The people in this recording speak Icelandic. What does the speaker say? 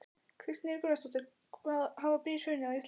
Kristín Ýr Gunnarsdóttir: Hafa brýr hrunið á Íslandi?